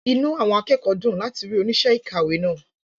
Inú àwọn akẹ́kọ̀ọ́ dùn láti rí oníṣẹ́ ìkàwé náà.